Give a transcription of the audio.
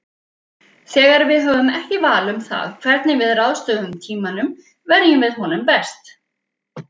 Þegar við höfum ekki val um það hvernig við ráðstöfum tímanum verjum við honum best.